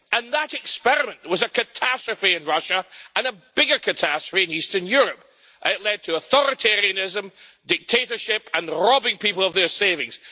That experiment was a catastrophe in Russia and a bigger catastrophe in Eastern Europe. It led to authoritarianism, dictatorship and robbing people of their savings.